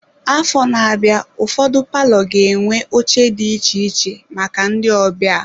Afọ na-abịa ụfọdụ palọ ga-enwe oche dị iche iche maka ndị ọbịa.